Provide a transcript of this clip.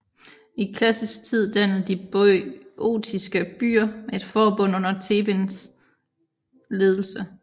I klassisk tid dannede de boiotiske byer et forbund under Thebens ledelse